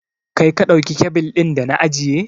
Kai ka ɗauki kyabil ɗin da na ajiye?